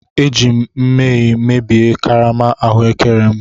Eji m nmehie mebie karama ahụekere m.